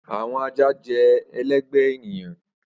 Awọn aja jẹ ẹlẹgbẹ eniyan.